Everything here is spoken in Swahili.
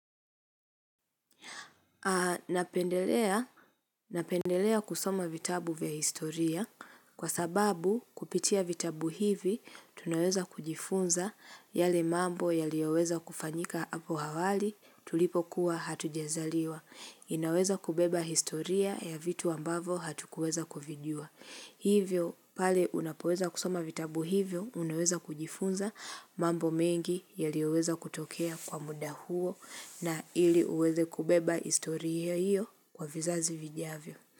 Napendelea kusoma vitabu vya historia kwa sababu kupitia vitabu hivi tunaweza kujifunza yale mambo yaliyoweza kufanyika hapo awali tulipokuwa hatujazaliwa. Inaweza kubeba historia ya vitu ambavo hatukuweza kuvijua. Hivyo, pale unapoweza kusoma vitabu hivyo unaweza kujifunza mambo mengi yaliyoweza kutokea kwa muda huo na ili uweze kubeba historia hiyo kwa vizazi vijavyo.